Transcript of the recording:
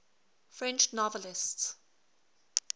french novelists